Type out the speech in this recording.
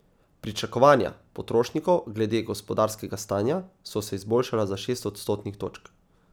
Pričakovanja potrošnikov glede gospodarskega stanja so se izboljšala za šest odstotnih točk.